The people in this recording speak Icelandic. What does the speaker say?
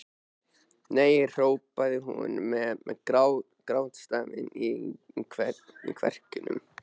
Nei hrópaði hún með grátstafinn í kverkunum.